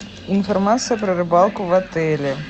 информация про рыбалку в отеле